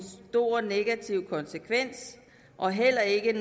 stor negativ konsekvens og heller ikke en